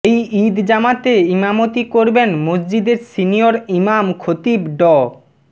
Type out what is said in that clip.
এই ঈদ জামাতে ইমামতি করবেন মসজিদের সিনিয়র ইমাম খতিব ড